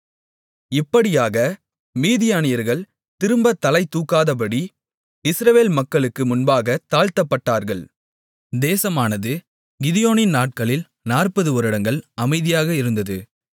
இப்படியாக மீதியானியர்கள் திரும்ப தலை தூக்காதபடி இஸ்ரவேல் மக்களுக்கு முன்பாகத் தாழ்த்தப்பட்டார்கள் தேசமானது கிதியோனின் நாட்களில் 40 வருடங்கள் அமைதியாக இருந்தது